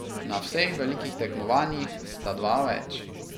Na vseh velikih tekmovanjih sta dva več.